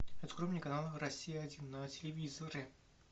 открой мне канал россия один на телевизоре